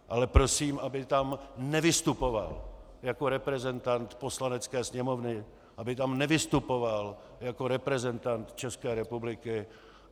Ale prosím, aby tam nevystupoval jako reprezentant Poslanecké sněmovny, aby tam nevystupoval jako reprezentant České republiky.